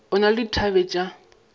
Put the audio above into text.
o na le dithabe tša